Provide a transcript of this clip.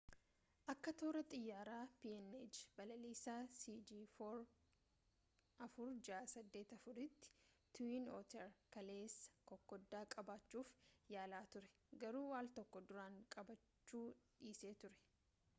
akka toora xayyaaraa png balaliisa cg4684 tti tiwiin ooter kaleessa kokoda qubachuuf yaalaa ture garuu aal tokko duraan qubachuu dhiisee ture